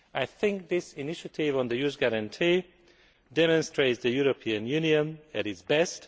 I think this initiative on the youth guarantee demonstrates the European Union at its best.